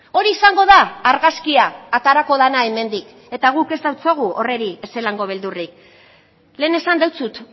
hori izango da argazkia aterako dena hemendik eta guk ez diogu horri ezelango beldurrik lehen esan dizut